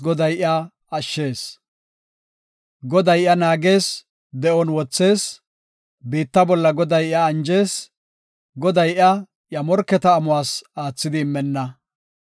Goday iya naagees, de7on wothees; biitta bolla Goday iya anjees; Goday iya, iya morketa amuwas aathidi immenna.